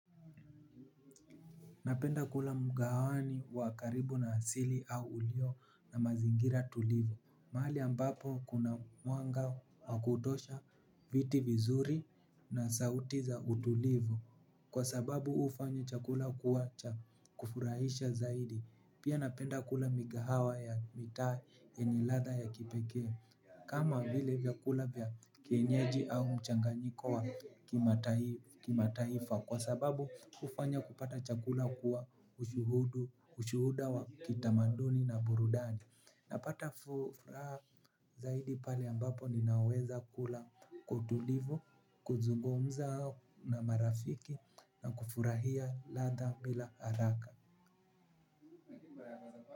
Napenda kula mkahawani wa karibu na asili au ulio na mazingira tulivu. Mahali ambapo kuna mwanga wa kutosha viti vizuri na sauti za utulivu. Kwa sababu hufanya chakula kuwa cha kufurahisha zaidi. Pia napenda kula mikahawa ya mitaa yenye ladha ya kipekee. Kama vile vyakula vya kienyeji au mchanganyiko wa kimataifa. Kwa sababu kufanya kupata chakula kuwa ushuhudu, ushuhuda wa kitamaduni na burudani. Napata furaja zaidi pale ambapo ninaweza kula kwa utulivu, kuzungumza na marafiki na kufurahia latha bila haraka.